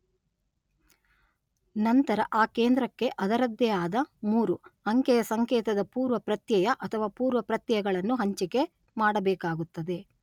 ನಂತರ ಆ ಕೇಂದ್ರಕ್ಕೆ ಅದರದ್ದೇ ಆದ ಮೂರು, ಅಂಕೆಯ ಸಂಕೇತದ ಪೂರ್ವಪ್ರತ್ಯಯ ಅಥವಾ ಪೂರ್ವಪ್ರತ್ಯಯಗಳನ್ನು ಹಂಚಿಕೆ ಮಾಡಬೇಕಾಗುತ್ತದೆ.